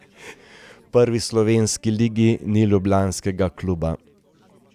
V prvi slovenski ligi ni ljubljanskega kluba.